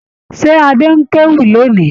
Ṣé Adé ń kéwì lónì?